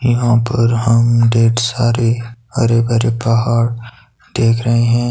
यहां पर हम ढेर सारे हरे भरे पहाड़ देख रहे हैं।